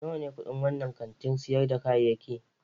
Nawa ne kudin wannan kantin sayar da kayayyaki?